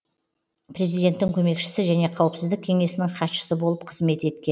президенттің көмекшісі және қауіпсіздік кеңесінің хатшысы болып қызмет еткен